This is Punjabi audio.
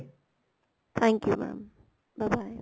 thank you mam bye bye